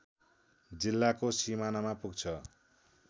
जिल्लाको सिमानामा पुग्छ